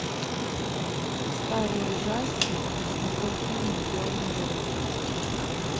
старый ужастик с николь кидман в главной роли